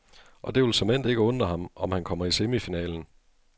Og det vil såmænd ikke undre ham, om han kommer i semifinalen.